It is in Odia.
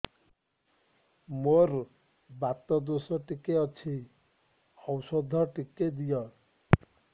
ମୋର୍ ବାତ ଦୋଷ ଟିକେ ଅଛି ଔଷଧ ଟିକେ ଦିଅ